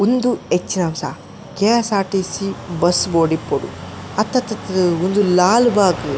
ಉಂದು ಹೆಚ್ಚಿನಾಂಸ ..KSRTC bus board ಇಪ್ಪೊಡು ಅತ್ತತ್ತ್ ತ್ತ್ ಉಂದು ಲಾಲ್ ಬಾಗ್ .